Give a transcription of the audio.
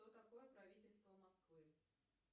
что такое правительство москвы